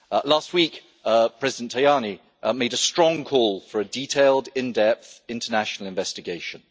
Last week President Tajani made a strong call for a detailed, in depth international investigation.